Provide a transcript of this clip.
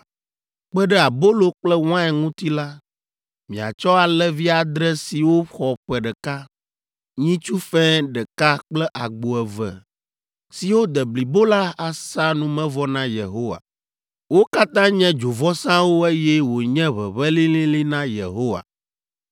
Kpe ɖe abolo kple wain ŋuti la, miatsɔ alẽvi adre siwo xɔ ƒe ɖeka, nyitsu fɛ̃ ɖeka kple agbo eve siwo de blibo la asa numevɔ na Yehowa. Wo katã nye dzovɔsawo eye wonye ʋeʋẽ lĩlĩlĩ na Yehowa.